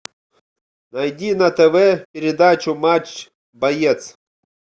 найди на тв передачу матч боец